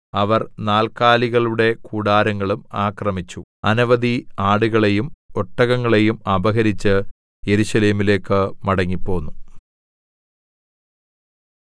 അവർ നാല്ക്കാലികളുടെ കൂടാരങ്ങളും ആക്രമിച്ചു അനവധി ആടുകളെയും ഒട്ടകങ്ങളെയും അപഹരിച്ച് യെരൂശലേമിലേക്ക് മടങ്ങിപ്പോന്നു